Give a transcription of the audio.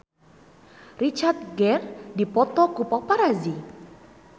Richard Gere dipoto ku paparazi